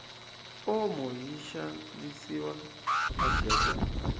omo yishavisiwa ajet